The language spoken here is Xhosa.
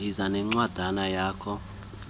yiza nencwadana yakho